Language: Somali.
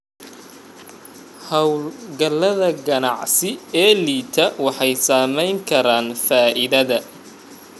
Hawlgallada ganacsi ee liita waxay saameyn karaan faa'iidada.